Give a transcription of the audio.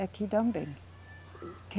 Aqui também.